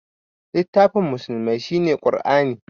Littafin musulmai shine Qur'ani